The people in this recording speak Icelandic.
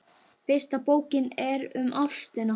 Fyrsta bókin er um ástina.